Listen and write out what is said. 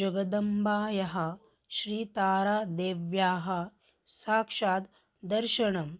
जगदम्बायाः श्रीतारादेव्याः साक्षाद् दर्शनं